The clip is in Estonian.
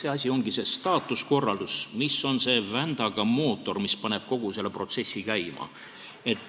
See asi ongi see staatuskorraldus, mis on see vändaga mootor, mis paneb kogu selle protsessi käima.